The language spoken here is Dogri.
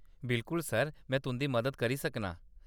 बिल्कुल सर, में तुंʼदी मदद करी सकनां।